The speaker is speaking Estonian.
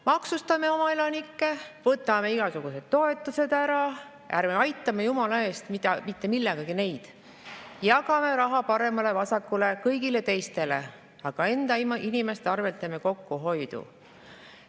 Maksustame oma elanikke, võtame igasugused toetused ära, ärme aitame neid jumala eest mitte millegagi, jagame raha paremale-vasakule, kõigile teistele, aga enda inimeste arvelt teeme kokkuhoidu.